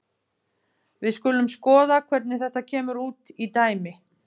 Við skulum skoða hvernig þetta kemur út í dæmi.